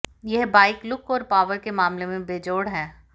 यह bike look और power के मामले में बेजोड़ है